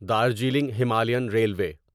Darjeeling Himalayan railway